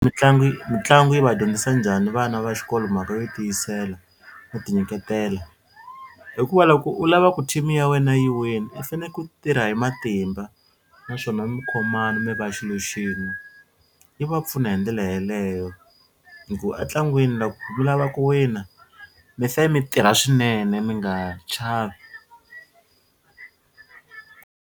Mitlangu yi mitlangu yi va dyondzisa njhani vana va xikolo mhaka yo tiyisela no ti nyiketela? Hikuva loko u lava ku team ya wena yi wina i faneke ku tirha hi matimba naswona mi khomana mi va xilo xin'we. Yi va pfuna hi ndlela yaleyo hi ku a ntlangwini loko mi lava ku wina mi fe mi tirha swinene mi nga chavi.